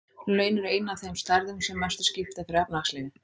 Laun eru ein af þeim stærðum sem mestu skipta fyrir efnahagslífið.